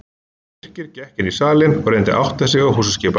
Birkir gekk inn í salinn og reyndi að átta sig á húsaskipan.